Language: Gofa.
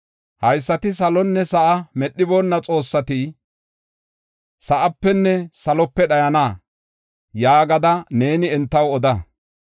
“Haysati salonne sa7a medhiboonna xoossati sa7apenne salope dhayana” yaagada neeni entaw oda.